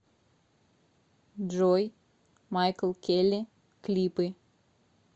джой майкл келли клипы